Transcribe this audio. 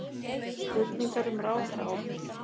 Spurningar um ráðherraábyrgð